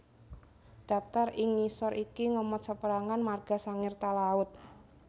Daptar ing ngisor iki ngemot saperangan marga Sangir Talaud